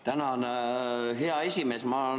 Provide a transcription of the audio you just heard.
Tänan, hea esimees!